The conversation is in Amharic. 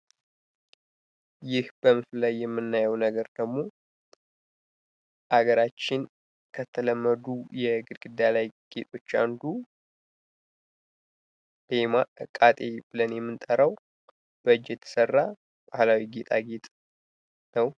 ይህ በምስሉ ላይ የምናየው ነገር ደግሞ ከሃገራችን ከተለመዱ የግድግዳ ላይ ጌጦች አንዱ "ቤማቃጢ" ብለን የምንጠራው በእጅ የተሰራ የጌጣጌጥ አይነት ነው።